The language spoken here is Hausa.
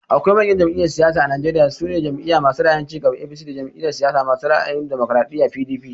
Akwai manyan jam'iyyan siyasa a Najeriya, su ne Jam'iya masu ra'ayin cigaba (APC) da Jam'iyar siyasa masu ra'ayin damokaraɗiya (PDP)